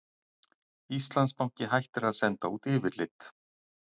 Íslandsbanki hættir að senda út yfirlit